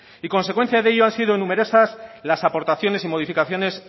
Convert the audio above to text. y consecuencia de ello han sido numerosas las aportaciones y modificaciones